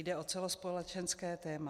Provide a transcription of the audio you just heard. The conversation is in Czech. Jde o celospolečenské téma.